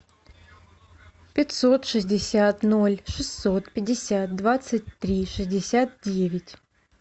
пятьсот шестьдесят ноль шестьсот пятьдесят двадцать три шестьдесят девять